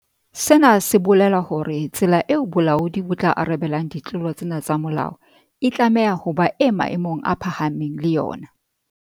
Sena se bolela hore tsela eo bolaodi bo tla arabelang ditlolo tsena tsa molao e tlameha ho ba e maemong a phahameng le yona.